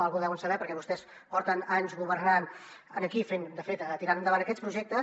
alguna cosa deuen saber perquè vostès porten anys governant aquí de fet tirant endavant aquests projectes